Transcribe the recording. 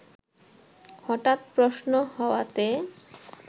হঠাৎ প্রশ্ন হওয়াতে